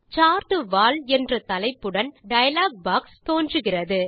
chart wall என்ற தலைப்புடன் dialog box தோன்றுகிறது